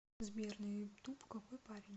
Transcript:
сбер на ютуб какой парень